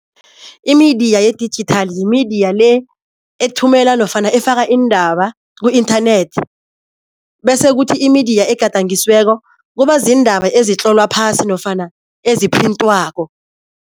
I-media ye-digital yi-media le ethumela nofana efaka iindaba ku-inthanethi, bese kuthi i-media egadangisiweko kuba ziindaba ezitlolwa phasi nofana eziphrintiwako.